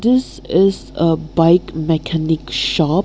this is a bike mechanic shop.